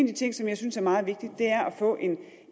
de ting som jeg synes er meget vigtig er at få